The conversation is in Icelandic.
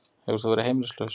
Hefur þú verið heimilislaus?